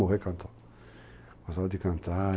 cantando. Gostava de cantar...